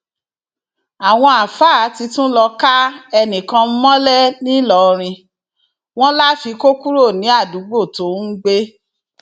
àwọn àáfàá ti tún lọọ ká ẹnìkan mọlẹ nìlọrin wọn láfi kó kúrò ní àdúgbò tó ń gbé